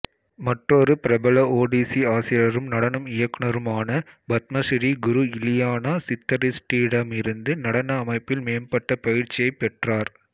மற்றொரு பிரபல ஒடிசி ஆசிரியரும் நடன இயக்குனருமான பத்மசிறீ குரு இலியானா சித்தரிஸ்ட்டிடமிருந்து நடன அமைப்பில் மேம்பட்ட பயிற்சியைப் பெற்றார்